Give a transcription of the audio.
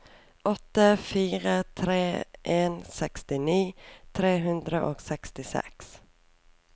åtte fire tre en sekstini tre hundre og sekstiseks